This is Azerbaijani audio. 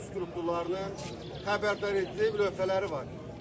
Hər bir piyada strukturlarının xəbərdaredici lövhələri var.